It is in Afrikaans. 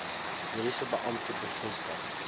mediese beampte bevestig